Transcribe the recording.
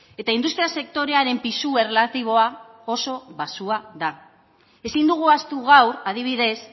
eta industria sektorearen pisu erlatiboa oso baxua da ezin dugu ahaztu gaur adibidez